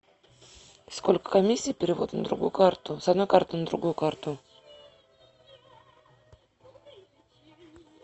сколько комиссии перевод на другую карту с одной карты на другую карту